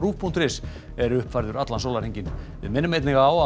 punktur is er uppfærður allan sólarhringinn við minnum einnig á